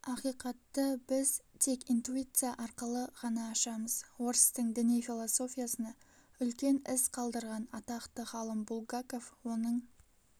ақиқатты біз тек интуиция арқылы ғана ашамыз орыстың діни-философиясына үлкен із қалдырған атақты ғалым булгаков оның